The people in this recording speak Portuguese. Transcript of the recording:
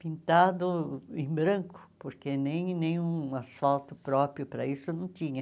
pintado em branco, porque nem nenhum asfalto próprio para isso não tinha.